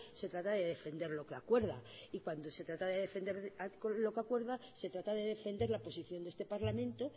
se trata de defender lo que acuerda y cuando se trata de defender lo que acuerda se trata de defender la posición de este parlamento